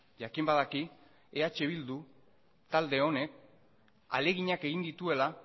jakin badaki eh bildu talde honek ahaleginak egin dituela